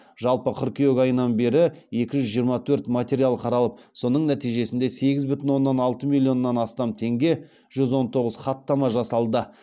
жалпы қыркүйек айынан бері екі жүз жиырма төрт материал қаралып соның нәтижесінде сегіз бүтін оннан алты миллионнан астам теңге жүз он тоғыз хаттама жасалды